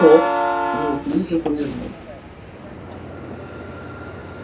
тот неуклюже повернулся